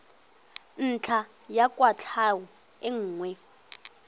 ntlha ya kwatlhao e nngwe